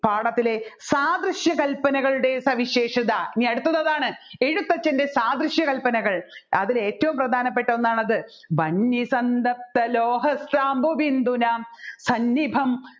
പാഠത്തിലെ സാദൃശ്യ കല്പനകളുടെ സവിശേഷത ഇനി അടുത്തത് അതാണ് എഴുത്തച്ഛൻെറ സാദൃശ്യ കല്പനകൾ അതിൽ ഏറ്റവും പ്രധാനപ്പെട്ട ഒന്നാണത് വന്യ സന്തപ്ത ലോഹ സാംപു ബിന്ദുനാം സന്നിഭം